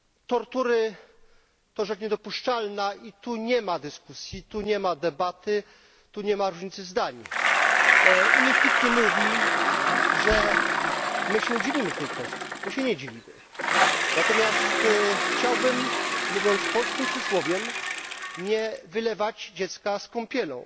Tortury to rzecz niedopuszczalna i tu nie ma dyskusji, tu nie ma debaty, tu nie ma różnicy zdań. Niech nikt nie mówi, że my się dzielimy w tej kwestii, bo się nie dzielimy. Natomiast chciałbym, mówiąc polskim przysłowiem, nie wylewać dziecka z kąpielą,